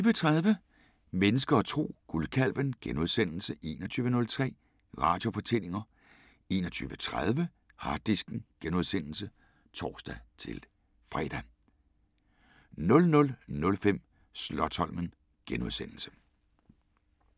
20:30: Mennesker og Tro: Guldkalven * 21:03: Radiofortællinger * 21:30: Harddisken *(tor-fre) 00:05: Slotsholmen *